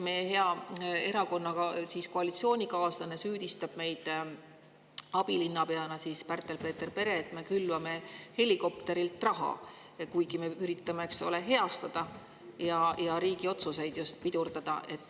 Meie hea koalitsioonikaaslane, abilinnapea Pärtel-Peeter Pere, süüdistab meid, et me külvame helikopterilt raha, kuigi me üritame riigi otsuseid heastada ja just pidurdada.